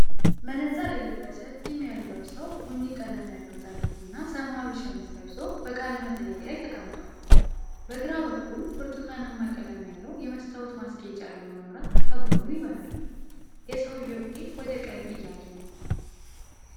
መነጽር የለበሰ ጢም ያለው ሰው ቡኒ ቀለም ያለው ጃኬት እና ሰማያዊ ሸሚዝ ለብሶ በቃለ መጠይቅ ላይ ተቀምጧል። በግራ በኩል ብርቱካናማ ቀለም ያለው የመስታወት ማስጌጫ ያለው መብራት ከጎኑ ይበራል። የሰውየው ፊት ወደ ቀኝ እያየ ነው፡፡